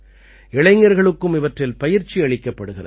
இளைஞர்களுக்கும் இவற்றில் பயிற்சி அளிக்கப்படுகிறது